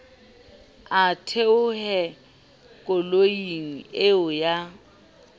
a theohe koloing eo ya